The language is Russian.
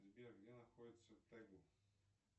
сбер где находится тайгу